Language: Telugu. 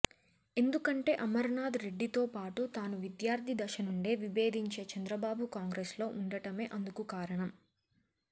ఎందుకంటే అమరనాథ్ రెడ్డితో పాటు తాను విద్యార్థి దశనుండే విభేదించే చంద్రబాబు కాంగ్రెస్లో ఉండటమే అందుకు కారణం